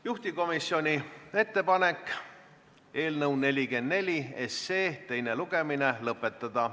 Juhtivkomisjoni ettepanek on eelnõu 44 teine lugemine lõpetada.